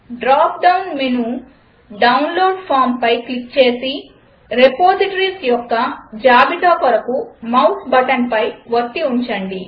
drop down menu download Fromపై click చేసి repositories యొక్క జాబితా కొరకు మౌస్ బటన్ను వత్తి ఉంచండి